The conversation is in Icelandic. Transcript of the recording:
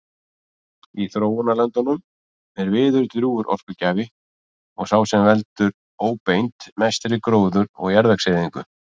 Í þróunarlöndunum er viður drjúgur orkugjafi og sá sem veldur óbeint mestri gróður- og jarðvegseyðingu.